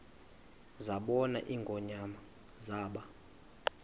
zabona ingonyama zaba